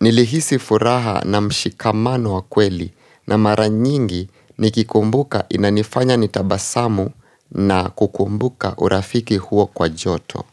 nilihisi furaha na mshikamano wa kweli na maranyingi nikikumbuka inanifanya nitabasamu na kukumbuka urafiki huo kwa joto.